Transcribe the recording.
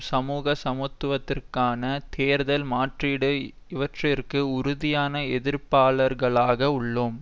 சமூக சமத்துவத்திற்கான தேர்தல் மாற்றீடு இவற்றிற்கு உறுதியான எதிர்ப்பாளர்களாக உள்ளோம்